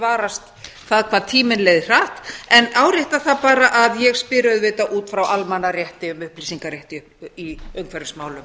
varast það hvað tíminn leið hratt en árétta það bara að ég spyr auðvitað út frá almannarétti um upplýsingarétt í umhverfismálum